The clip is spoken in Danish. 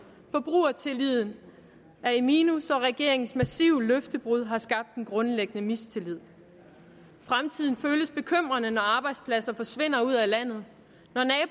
forbrugertilliden er i minus og regeringens massive løftebrud har skabt en grundlæggende mistillid fremtiden føles bekymrende når arbejdspladser forsvinder ud af landet